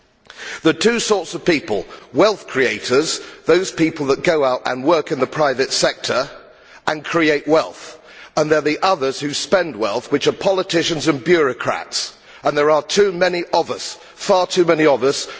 There are two sorts of people wealth creators, those people that go out and work in the private sector and create wealth, and there are the others who spend wealth, which are politicians and bureaucrats and there are too many of us. Far too many of